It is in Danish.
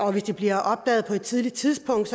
og hvis det bliver opdaget på et tidligt tidspunkt